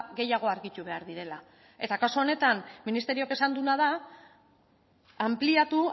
gehiago argitu behar direla eta kasu honetan ministerioak esan duena da anpliatu